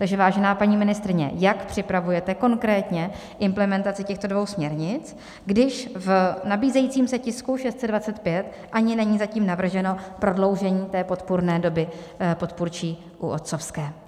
Takže vážená paní ministryně, jak připravujete konkrétně implementaci těchto dvou směrnic, když v nabízejícím se tisku 625 ani není zatím navrženo prodloužení té podpůrné doby podpůrčí u otcovské?